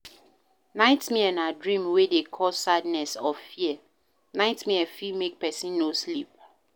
Nightmare na dream wey dey cause sadness or fear, nightmare fit make person no sleep